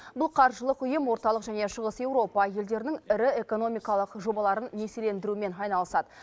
бұл қаржылық ұйым орталық және шығыс еуропа елдерінің ірі экономикалық жобаларын несиелендірумен айналысады